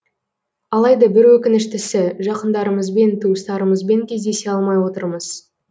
алайда бір өкініштісі жақындарымызбен туыстарымызбен кездесе алмай отырмыз